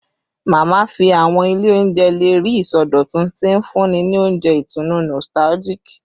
Mama fi awọn ile ounjẹ le rii isọdọtun, ti nfunni ni ounjẹ itunu nostalgic